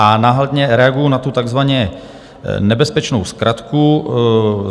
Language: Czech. A hlavně reaguji na tu takzvaně nebezpečnou zkratku.